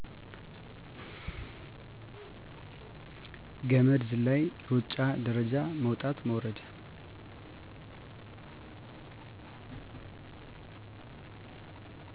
ገመድ ዝላይ፣ ሩጫ፣ ደረጃ መዉጣት መውረድ